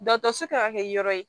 Dɔsi kan ka kɛ yɔrɔ ye